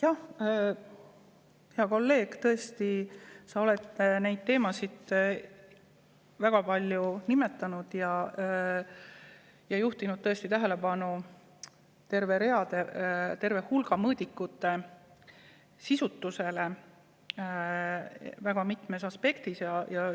Jah, hea kolleeg, tõesti, sa oled neid teemasid väga palju nimetanud ja juhtinud tähelepanu terve hulga mõõdikute sisutusele väga mitmes aspektis.